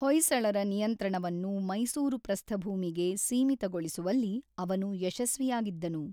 ಹೊಯ್ಸಳರ ನಿಯಂತ್ರಣವನ್ನು ಮೈಸೂರು ಪ್ರಸ್ಥಭೂಮಿಗೆ ಸೀಮಿತಗೊಳಿಸುವಲ್ಲಿ ಅವನು ಯಶಸ್ವಿಯಾಗಿದ್ದನು.